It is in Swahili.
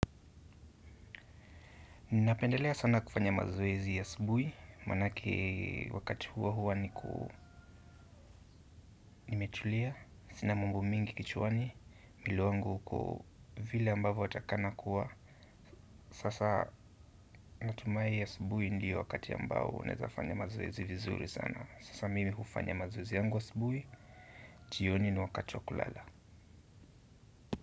Ninapendelea sana kufanya mazoezi asubuhi, maanake wakati huo huwa nimetulia, sina mumbo mingi kichwani, mwili wangu uko vile ambavo unatakana kuwa. Sasa natumai asubuhi ndio wakati ambao unaezafanya mazoezi vizuri sana. Sasa mimi hufanya mazoezi yangu asubuhi, jioni ni wakati wa kulala.